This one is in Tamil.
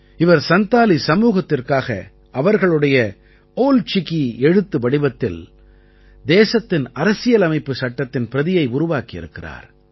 இவர் சந்தாலி சமூகத்திற்காக அவர்களுடைய ஓல் சிகீ எழுத்து வடிவத்தில் தேசத்தின் அரசியலமைப்புச் சட்டத்தின் பிரதியை உருவாக்கி இருக்கிறார்